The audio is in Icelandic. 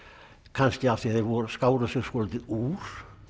kannski af því þeir skáru sig svolítið úr